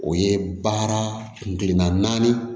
O ye baara kun kelenna naani